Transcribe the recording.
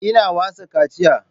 Ina wasa kaciya